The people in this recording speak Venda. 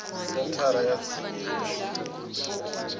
senthara ya tsini ya vhashumi